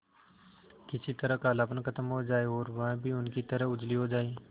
किसी तरह कालापन खत्म हो जाए और वह भी उनकी तरह उजली हो जाय